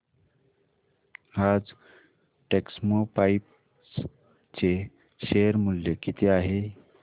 आज टेक्स्मोपाइप्स चे शेअर मूल्य किती आहे